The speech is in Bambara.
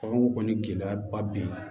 Baganw kɔni gɛlɛyaba bɛ yen